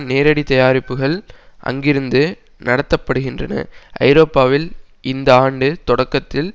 நேரடி தயாரிப்புகள் அங்கிருந்து நடத்த படுகின்றன ஐரோப்பாவில் இந்த ஆண்டு தொடக்கத்தில்